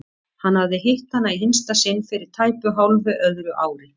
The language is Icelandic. Hann hafði hitt hana í hinsta sinn fyrir tæpu hálfu öðru ári.